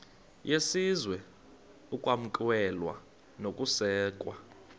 yesizwe ukwamkelwa nokusekwa